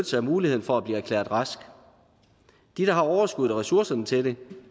sig af muligheden for at blive erklæret rask de der har overskuddet og ressourcerne til det